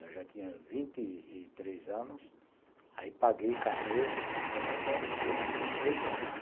Eu já tinha vinte e três anos, aí paguei carnê como autônomo durante oito anos.